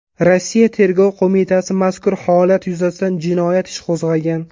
Rossiya Tergov qo‘mitasi mazkur holat yuzasidan jinoyat ishi qo‘zg‘agan .